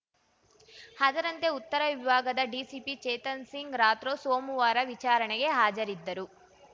ಅದರಂತೆ ಉತ್ತರ ವಿಭಾಗದ ಡಿಸಿಪಿ ಚೇತನ್‌ ಸಿಂಗ್‌ ರಾಥ್ರೋ ಸೋಮವಾರ ವಿಚಾರಣೆಗೆ ಹಾಜರಿದ್ದರು